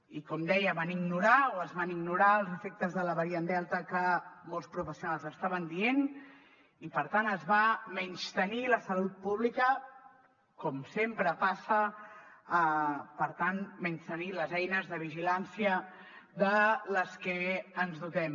i com deia van ignorar o es van ignorar els efectes de la variant delta que molts professionals estaven dient i per tant es va menystenir la salut pública com sempre passa per tant menystenir les eines de vigilància de les que ens dotem